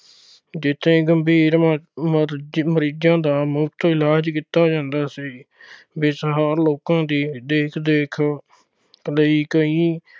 ਜਿੱਥੇ ਗੰਭੀਰ ਮਰੀ ਅਹ ਮਰੀਜ਼ਾਂ ਦਾ ਮੁਫਤ ਇਲਾਜ ਕੀਤਾ ਜਾਂਦਾ ਸੀ। ਬੇਸਹਾਰਾ ਲੋਕਾਂ ਦੀ ਦੇਖ-ਰੇਖ ਲਈ ਕਈ